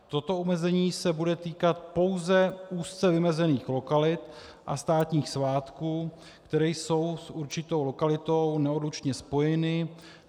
Toto omezení se bude týkat pouze úzce vymezených lokalit a státních svátků, které jsou s určitou lokalitou neodlučně spojeny.